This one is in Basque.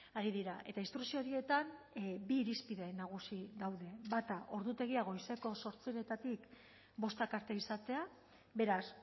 ari dira eta instrukzio horietan bi irizpide nagusi daude bata ordutegia goizeko zortzietatik bostak arte izatea beraz